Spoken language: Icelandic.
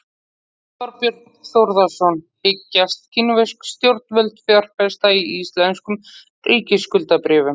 Þorbjörn Þórðarson: Hyggjast kínversk stjórnvöld fjárfesta í íslenskum ríkisskuldabréfum?